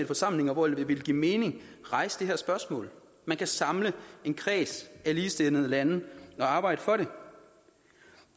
forsamlinger hvor det vil give mening rejse det her spørgsmål man kan samle en kreds af ligesindede lande og arbejde for det